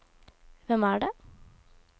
hvem er det